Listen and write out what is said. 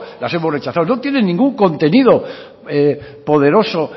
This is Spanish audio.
las hemos rechazado no tienen ningún contenido poderoso